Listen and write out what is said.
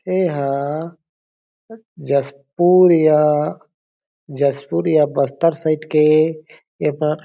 एहा जशपुर या जशपुर या बस्तर साइड के ए पार--